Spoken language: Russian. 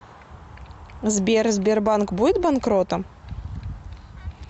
сбер сбербанк будет банкротом